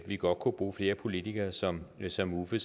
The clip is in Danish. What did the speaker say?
vi godt kunne bruge flere politikere som som uffe